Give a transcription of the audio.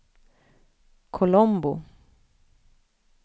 Colombo